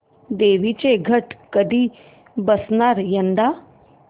देवींचे घट कधी बसणार यंदा